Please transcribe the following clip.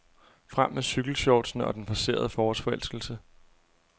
Frem med cykelshortsene og den forcerede forårsforelskelse.